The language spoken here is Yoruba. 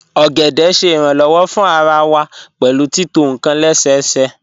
Ogede ṣẹ iranlọwọ̀ fún àrà wà pẹ̀lú títọ̀ níkan lẹ́sẹ̀sẹ̀